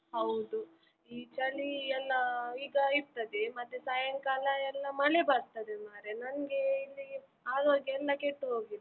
ಹೌದು, ಈ ಚಳಿ ಎಲ್ಲ ಈಗ ಇರ್ತದೆ ಮತ್ತೆ ಸಾಯಂಕಾಲ ಎಲ್ಲ ಮಳೆ ಬರ್ತದೆ ಮರ್ರೆ ನನ್ಗೆ ಇಲ್ಲಿ ಆರೋಗ್ಯೆಲ್ಲ ಕೆಟ್ಟು ಹೋಗಿದೆ.